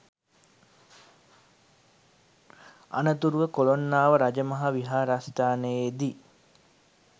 අනතුරුව කොළොන්නාව රජමහා විහාරස්ථානයේදී